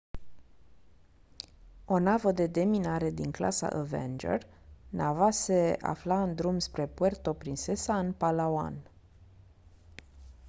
o navă de deminare din clasa avenger nava se afla în drum spre puerto princesa în palawan